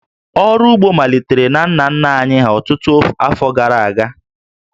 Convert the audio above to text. Ọrụ ugbo malitere na nna nna anyị ọtụtụ afọ gara aga